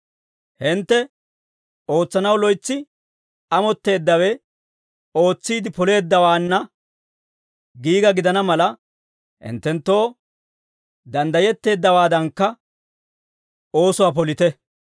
Hintte ootsanaw loytsi amotteeddawe ootsiide poleeddawaanna giiga gidana mala, hinttenttoo danddayetteeddawaadankka oosuwaa polite.